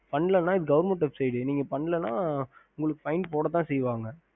ஹம்